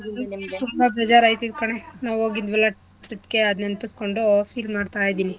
ತುಂಬಾ ಬೇಜಾರ್ ಆಯಿತೈತೆ ಕಣೆ ನಾವ್ ಹೋಗಿದ್ವಲ trip ಗೆ ಅದ್ ನೆನಪಿಸ್ಕೊಂಡು feel ಮಾಡ್ತಾ ಇದೀನಿ.